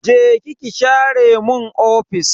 Je ki ki share mun ofis.